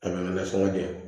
Kalan kɛ sɔngɔn de